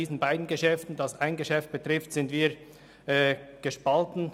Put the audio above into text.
Die SVP ist in dieser Sache gespalten.